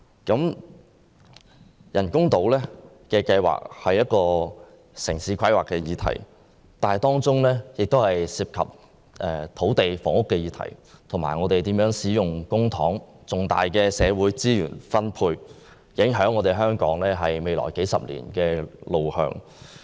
人工島計劃是一項城市規劃議題，當中涉及到土地和房屋議題，以及我們應如何使用公帑和分配重大社會資源的問題，影響着香港未來數十年的路向。